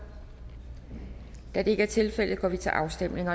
da det ikke er tilfældet går vi til afstemning